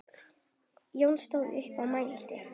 Jón stóð upp og mælti